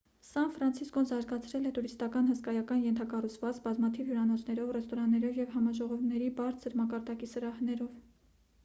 սան ֆրանցիսկոն զարգացրել է տուրիստական հսկայական ենթակառուցվածք բազմաթիվ հյուրանոցներով ռեստորաններով և համաժողովների բարձր մակարդակի սրահներով